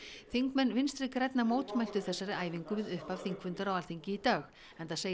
þingmenn Vinstri grænna mótmæltu þessari æfingu við þingfundar á Alþingi í dag enda segir